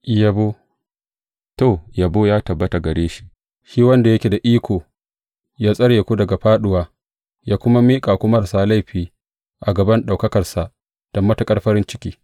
Yabo To, yabo yă tabbata a gare shi, shi wanda yake da iko yă tsare ku daga fāɗuwa, yă kuma miƙa ku marasa laifi a gaban ɗaukakarsa da matuƙar farin ciki.